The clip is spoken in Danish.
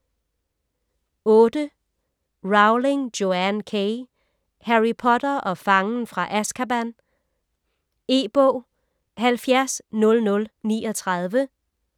Rowling, Joanne K.: Harry Potter og fangen fra Azkaban E-bog 700039